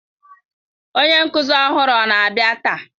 Onye nkuzi ọhụrụ ọ na-abịa taa?